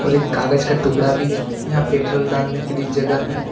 कागज का टुकड़ा भी है यहां पेट्रोल डालने के लिए जगह है।